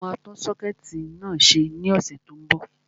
Mo máa tún sọ́kẹ̀tì náà ṣe ní ọ̀sẹ̀ tó n bọ̀